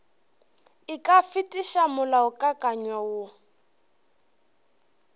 e ka fetiša molaokakanywa woo